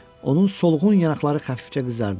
Onun solğun yanaqları xəfifcə qızardı.